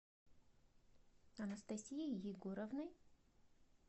анастасией егоровной